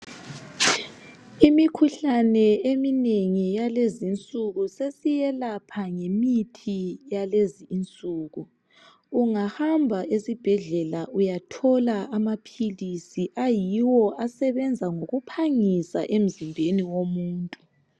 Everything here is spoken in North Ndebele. Imikhuhlane eminengi yalezinsuku sesiyelapha ngemithi yalezinsuku. Ungahamba esibhedlela uyathola amaphilisi ayiwo asebenza ngokuphangisa emzimbeni womuntu.